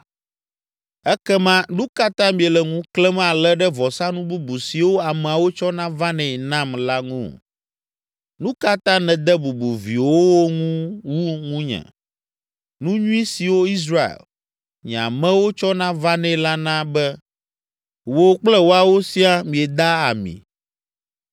Ekema nu ka ta miele ŋu klẽm ale ɖe vɔsanu bubu siwo ameawo tsɔna vanɛ nam la ŋu? Nu ka ta nède bubu viwòwo ŋu wu ŋunye? Nu nyui siwo Israel, nye amewo tsɔna vanɛ la na be wò kple woawo siaa mieda ami!